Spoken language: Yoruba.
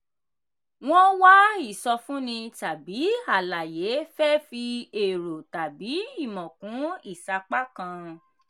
wọ́n wá ìsọfúnni tàbí àlàyé fẹ́ fi èrò tàbí ìmọ̀ kún ìsapá kan.